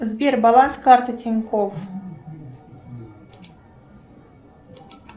сбер баланс карты тинькоф